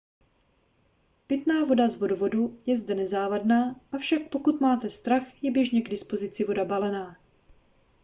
pitná voda z vodovodu je zde nezávadná avšak pokud máte strach je běžně k dispozici voda balená